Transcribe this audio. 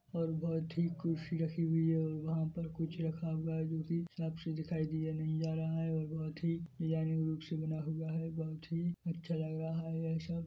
और बहोत ही कुर्सी रखी हुई है और वहाँ पर कुछ रखा हुआ है जोकि साफ से दिखाई दिया नहीं जा रहा है और बहोत ही डिजाइनर रूप से बना हुआ है बहोत ही अच्छा लग रहा है।